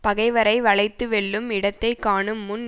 பகைவரை வளைத்து வெல்லும் இடத்தை காணும் முன்